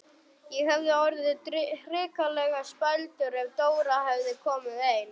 Ég hefði orðið hrikalega spældur ef Dóra hefði komið ein!